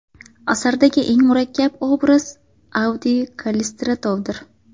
Asardagi eng murakkab obraz Avdiy Kallistratovdir.